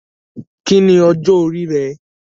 Kí ni ọjọ́ orí rẹ?